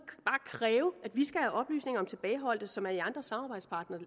kræve at vi skal have oplysninger om tilbageholdte som er i andre samarbejdspartneres